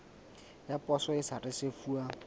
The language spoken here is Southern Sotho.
ya poso e sa risefuwang